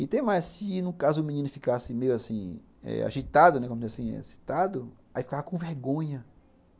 E tem mais, se no caso o menino ficasse meio assim eh agitado, excitado, aí ficava com vergonha.